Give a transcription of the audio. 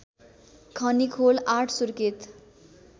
Khanikhol ८ Surkhet